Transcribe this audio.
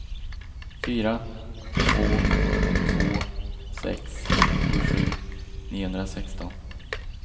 fyra två två sex tjugosju niohundrasexton